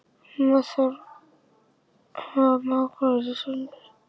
Má þjálfari sleppa því að hafa markvörð í sínu liði?